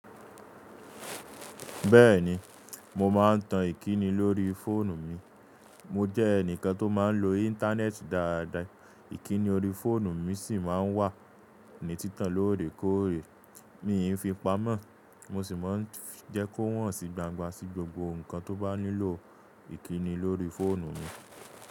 Bẹ́ẹ̀ni mo máa ń tan ìkíni lórí fóònù mi. Mo jẹ́ ẹnìkan tó máa ń lo íńtánẹ́ẹ̀tì dáadáa, ìkíni orí fóònù mi sì máa ń wà ní títàn lóòrèkóòrè mí ì ń fi pamọ́. Mo sì máa ń jẹ́ kó hàn sí gbangba sí gbogbo nǹkan tó bá nílò ìkíni lórí fóònù mi.